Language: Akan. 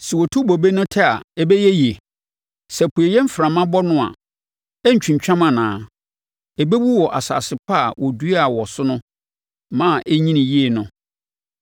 Sɛ wɔtu bobe no tɛ a, ɛbɛyɛ yie? Sɛ apueeɛ mframa bɔ no a, ɛrentwintwam anaa? Ɛbɛwu wɔ asase pa a wɔduaa wɔ so ma ɛnyinii yie no.’ ”